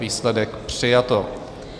Výsledek: přijato.